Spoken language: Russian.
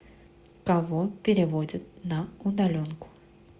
кого переводят на удаленку